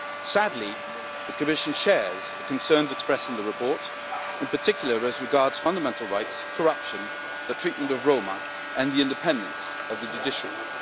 Sadly, the Commission shares the concerns expressed in the report, in particular, the concerns regarding fundamental rights, corruption, the treatment of Roma, and the independence of the judiciary.